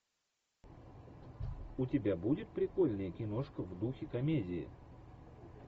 у тебя будет прикольная киношка в духе комедии